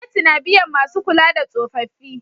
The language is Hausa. Gwamnati na biyan masu kula da tsofaffi